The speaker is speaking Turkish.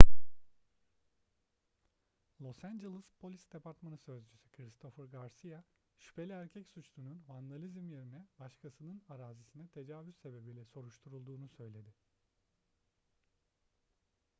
los angeles polis departmanı sözcüsü christopher garcia şüpheli erkek suçlunun vandalizm yerine başkasının arazisine tecavüz sebebiyle soruşturulduğunu söyledi